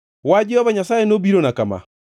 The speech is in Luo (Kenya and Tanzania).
Wach Jehova Nyasaye nobirona kama: